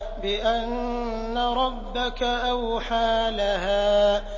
بِأَنَّ رَبَّكَ أَوْحَىٰ لَهَا